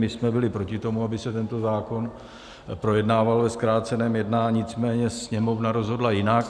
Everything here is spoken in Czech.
My jsme byli proti tomu, aby se tento zákon projednával ve zkráceném jednání, nicméně Sněmovna rozhodla jinak.